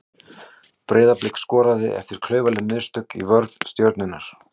Breiðablik skoraði eftir klaufaleg mistök í vörn Stjörnunnar.